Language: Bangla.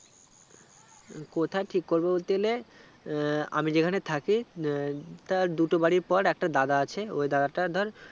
কোথায় ঠিক করবো বলতে গেলে আহ আমি যেখানে থাকি উম তার দুটো বাড়ি পর একটা দাদা আছে ওই দাদাটা ধর